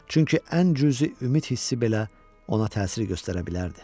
Çünki ən cüzi ümid hissi belə ona təsir göstərə bilərdi.